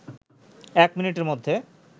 ১ মিনিটের মধ্যে